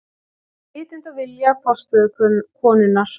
Með vitund og vilja forstöðukonunnar.